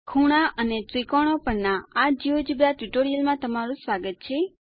ખૂણા અને ત્રિકોણો પરના આ જિયોજેબ્રા ટ્યુટોરીયલમાં તમારું સ્વાગત છે